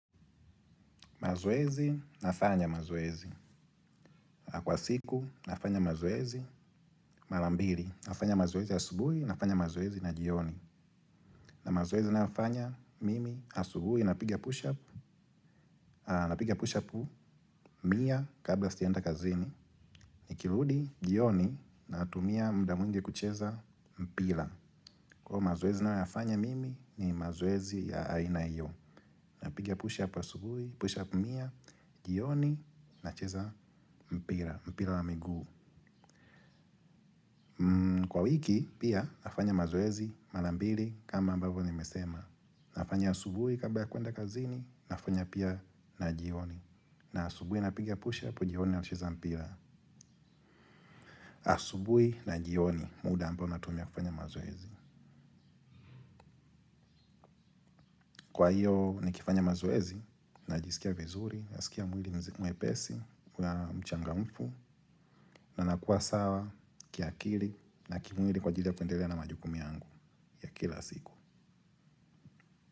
Mazoezi, nafanya mazoezi. Kwa siku, nafanya mazoezi. Mala mbiri, nafanya mazoezi asubuhi, nafanya mazoezi na jioni. Na mazoezi nayofanya, mimi, asubuhi, napiga push-up, napiga push-upu, mia, kabla sijaenda kazini. Nikiludi, jioni, natumia muda mwingi kucheza, mpila. Kwa io mazoezi nayoyafanya, mimi, ni mazoezi ya aina iyo. Napiga push-up asubuhi, push-up, mia, jioni, nacheza, mpira, mpira wa miguu. Kwa wiki pia nafanya mazoezi mala mbili kama ambavo nimesema. Nafanya asubui kabla ya kuenda kazini nafanya pia na jioni. Na asubui napiga pushap jioni naucheza mpila. Asubui na jioni muda ambao natumia kufanya mazoezi. Kwa hiyo nikifanya mazoezi najisikia vizuri. Nasikia mwili mzima mwepesi na mchangamfu. Na nakua sawa kiakili na kimwili kwa ajili ya kuendelea na majukumu yangu ya kila siku.